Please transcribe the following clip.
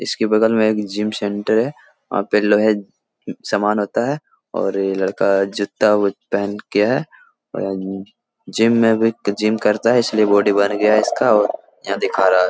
इसके बगल में एक जिम सेंटर है वहाँ पे लोहे सामान होता है और लड़का जूता-उता पहन के है जिम में भी जिम करता है इसलिए बॉडी बन गया है यहाँ दिखा रहा है ।